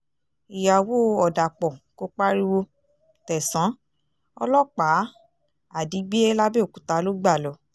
ìyàwó ọ̀dàpọ̀ kò pariwo tẹ̀sán ọlọ́pàá àdígbé làbẹ́ọ̀kúta ló gbà lọ